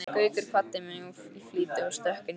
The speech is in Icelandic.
Gaukur kvaddi mig í flýti og stökk inn í strætó.